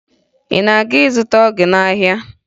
Ị na-azụta ọgwụ gị n'ahịa?